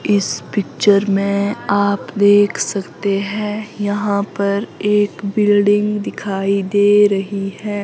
इस पिक्चर में आप देख सकते हैं यहां पर एक बिल्डिंग में दिखाई दे रही है।